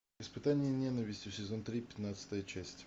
испытание ненавистью сезон три пятнадцатая часть